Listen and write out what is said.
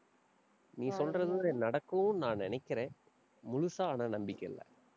நீ சொல்றது கூட நடக்கும்ன்னு நான் நினைக்கிறேன். முழுசா ஆனா நம்பிக்கை இல்லை.